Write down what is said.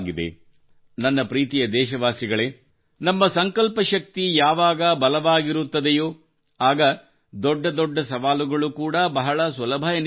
ನನ್ನ ಪ್ರೀತಿಯ ದೇಶವಾಸಿಗಳೇ ನಮ್ಮ ಸಂಕಲ್ಪಶಕ್ತಿ ಯಾವಾಗ ಬಲವಾಗಿರುತ್ತದೆಯೋ ಆಗ ದೊಡ್ಡ ದೊಡ್ಡ ಸವಾಲುಗಳು ಕೂಡಾ ಬಹಳ ಸುಲಭವೆನಿಸಿಬಿಡುತ್ತವೆ